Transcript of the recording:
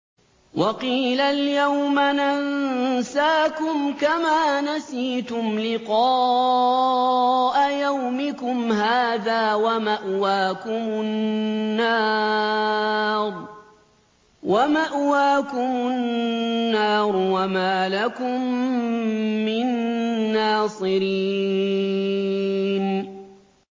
وَقِيلَ الْيَوْمَ نَنسَاكُمْ كَمَا نَسِيتُمْ لِقَاءَ يَوْمِكُمْ هَٰذَا وَمَأْوَاكُمُ النَّارُ وَمَا لَكُم مِّن نَّاصِرِينَ